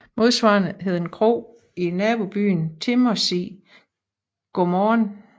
Modsvarende hed en kro i nabobyen Timmersig Godmorgen